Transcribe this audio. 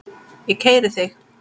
Ég keyri þig!